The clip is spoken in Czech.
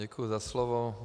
Děkuji za slovo.